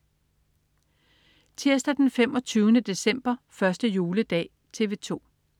Tirsdag den 25. december. 1. juledag - TV 2: